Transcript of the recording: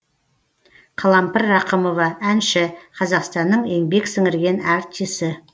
қалампыр рақымова әнші қазақстанның еңбек сіңірген артисі